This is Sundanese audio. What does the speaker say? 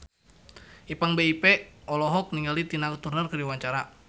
Ipank BIP olohok ningali Tina Turner keur diwawancara